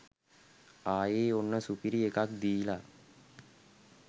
ආයේ ඔන්න සුපිරි එකක් දීලා.